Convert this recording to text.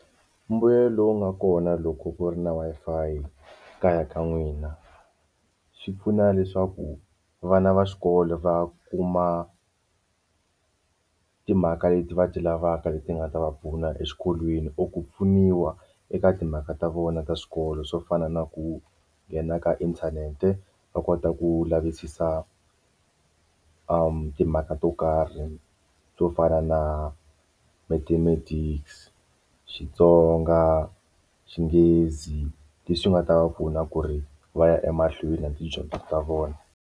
Mbuyelo lowu nga kona loko ku ri na Wi-Fi kaya ka n'wina swi pfuna leswaku vana va xikolo va kuma timhaka leti va ti lavaka leti nga ta va pfuna exikolweni or ku pfuniwa eka timhaka ta vona ta swikolo swo fana na ku nghena ka inthanete va kota ku lavisisa timhaka to karhi swo fana na Mathematics Xitsonga Xinghezi leswi nga ta va pfuna ku ri va ya emahlweni na tidyondzo ta vona.